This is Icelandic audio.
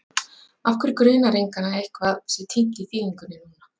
Af hverju grunar engan að eitthvað sé týnt í þýðingunni núna?